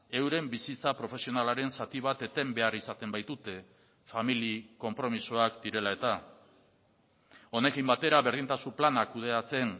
euren bizitza profesionalaren zati bat eten behar izaten baitute familia konpromisoak direla eta honekin batera berdintasun plana kudeatzen